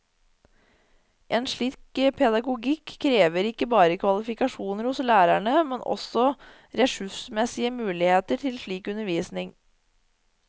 En slik pedagogikk krever ikke bare kvalifikasjoner hos lærerne, men også ressursmessige muligheter til slik undervisning.